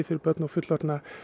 fyrir börn og fullorðna